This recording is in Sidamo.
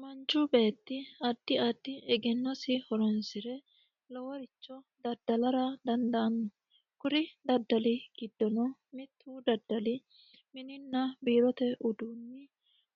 Manchu beetti addi addi egennosi horonsire loworicho daddalara dandaano kuri daddali giddono mitu daddalli minina biirote uduuni